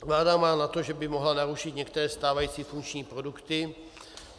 Vláda má za to, že by mohla narušit některé stávající funkční produkty.